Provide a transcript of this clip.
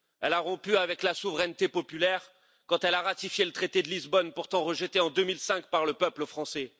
Elle a rompu avec la souveraineté populaire quand elle a ratifié le traité de Lisbonne, pourtant rejeté en 2005 par le peuple français.